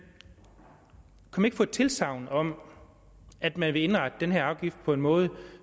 ikke fået tilsagn om at man vil indrette den her afgift på en måde